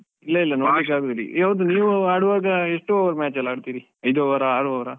ಇಲ್ಲ ಇಲ್ಲ ನೋಡ್ಲಿಕ್ಕೆ ಆಗುದಿಲ್ಲ. ಹೌದು ನೀವು ಆಡುವಾಗಎಷ್ಟು over match ಎಲ್ಲ ಆಡ್ತಿರಿ? ಐದು over ಆ, ಆರು over ಆ?